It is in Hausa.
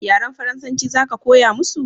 yaren faransanci za ka koya musu?